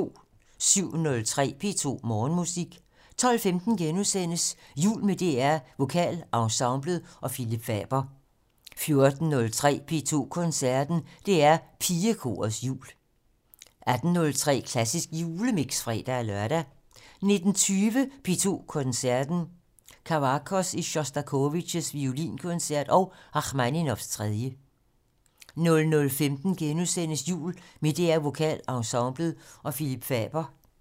07:03: P2 Morgenmusik 12:15: Jul med DR VokalEnsemblet og Phillip Faber * 14:03: P2 Koncerten - DR Pigekorets jul 18:03: Klassisk Julemix (fre-lør) 19:20: P2 Koncerten - Kavakos i Sjostakovitjs violinkoncert og Rakhmaninovs 3 00:15: Jul med DR VokalEnsemblet og Phillip Faber *